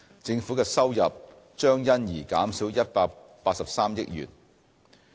政府的收入將因而減少183億元。